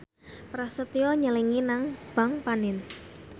Prasetyo nyelengi nang bank panin